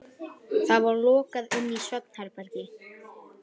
Það var lokað inn í svefnherbergið.